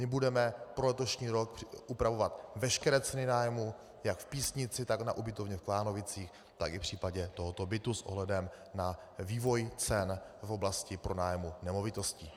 My budeme pro letošní rok upravovat veškeré ceny nájmu jak v Písnici, tak na ubytovně v Klánovicích, tak i v případě tohoto bytu s ohledem na vývoj cen v oblasti pronájmu nemovitosti.